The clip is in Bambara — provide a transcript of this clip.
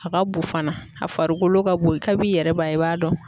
A ka bon fana a farikolo ka bon kab'i yɛrɛ b'a ye i b'a dɔn.